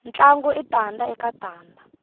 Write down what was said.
ntlangu i tanda eka tanda